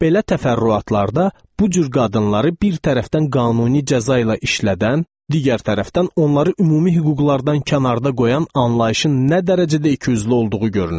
Belə təfərrüatlarda bu cür qadınları bir tərəfdən qanuni cəza ilə işlədən, digər tərəfdən onları ümumi hüquqlardan kənarda qoyan anlayışın nə dərəcədə ikiyüzlü olduğu görünür.